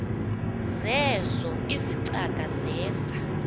zeezo izicaka zeza